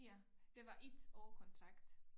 Ja det var 1 år kontrakt